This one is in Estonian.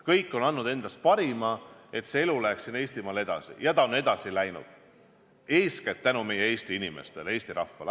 Kõik on andnud endast parima, et elu siin Eestimaal läheks edasi, ja ta on edasi läinud, eeskätt meie Eesti inimestele, Eesti rahvale.